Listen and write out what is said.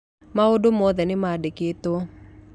Maũndũ mothe nĩmaandĩkĩtwo.